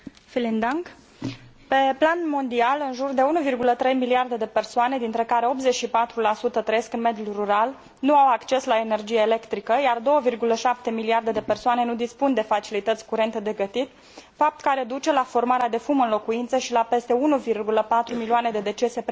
Pe plan mondial în jur de 1,3 miliarde de persoane, dintre care 84 trăiesc în mediul rural, nu au acces la energie electrică, iar 2,7 miliarde de persoane nu dispun de facilități curente de gătit, fapt care duce la formarea de fum în locuințe și la peste 1,4 milioane de decese premature în fiecare an.